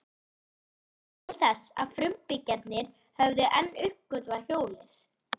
Ekkert benti til þess að frumbyggjarnir hefðu enn uppgötvað hjólið.